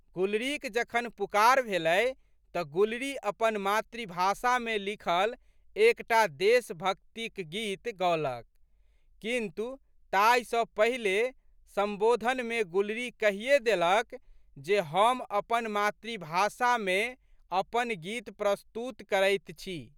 गुलरीक जखन पुकार भेलै तऽ गुलरी अपन मातृभाषामे लिखल एक टा देशभक्तिक गीत गओलक किन्तु, ताहि सँ पहिले संबोधनमे गुलरी कहिये देलक जे हम अपन मातृभाषामे अपन गीत प्रस्तुत करैत छी।